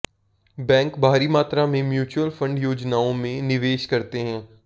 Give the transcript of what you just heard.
bank भारी मात्रा में म्युचुअल फंड योजनाओं में निवेश करते हैं